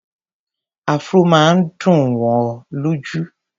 Afro máa ń dùn wò lójú.